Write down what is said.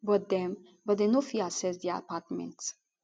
but dem but dem no fit access di apartment